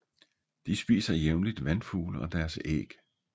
De spiser jævnligt vandfugle og deres æg